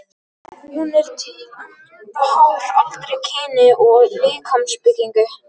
Hún er til að mynda háð aldri, kyni og líkamsbyggingu.